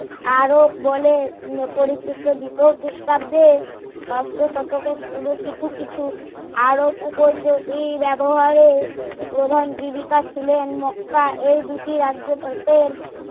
আরব বলে পরিচিত দ্বিতীয় খ্রিষ্টাব্দে ষষ্ট শতকের শুরু কিছু কিছু আরব উপযোগী ব্যাবহারে প্রধান জীবিকা ছিলেন মক্কা এই দুটি রাজ্য